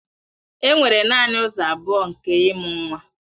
Enwere naanị ụzọ abụọ nke ịmụ nwa